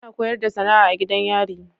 Ana koyarda SAnaa a gidan yari